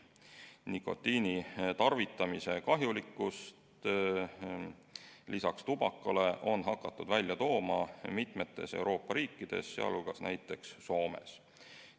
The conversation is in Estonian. Nikotiini tarvitamise kahjulikkust on lisaks tubaka kahjulikkusele hakatud välja tooma mitmes Euroopa riigis, sh Soomes.